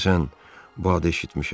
Deyəsən, bu da eşitmişəm.